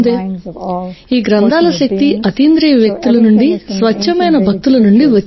ఈ గ్రంథాల శక్తి అతీంద్రియ వ్యక్తుల నుండి స్వచ్ఛమైన భక్తుల నుండి వచ్చింది